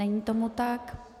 Není tomu tak.